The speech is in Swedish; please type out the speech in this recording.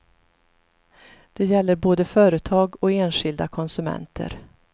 Det gäller både företag och enskilda konsumenter.